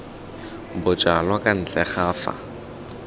bojalwa kwa ntle ga fa